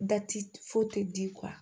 Da ti foyi te di